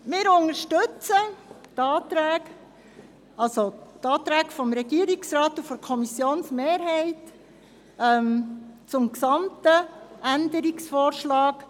Wir unterstützen die Anträge des Regierungsrates und der Mehrheit der Kommission zum gesamten Änderungsvorschlag.